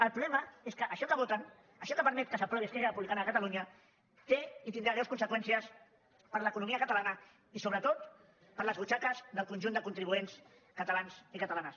el problema és que això que voten això que permet que s’aprovi esquerra republicana de catalunya té i tindrà greus conseqüències per a l’economia catalana i sobretot per a les butxaques del conjunt de contribuents catalans i catalanes